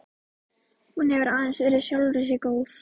Hún hefur aðeins verið sjálfri sér góð.